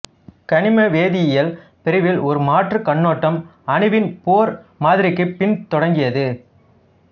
கனிம வேதியியல் பிரிவில் ஒரு மாற்று கண்ணோட்டம் அணுவின் போர் மாதிரிக்குப் பின் தொடங்கியது